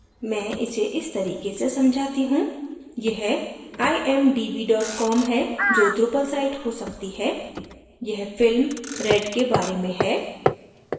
मैं इसे इस तरीके से समझाती हूँ यह imdb com है जो drupal site हो सकती है यह फिल्म red के बारे में है